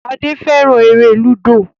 Shade féràn èrè ludo.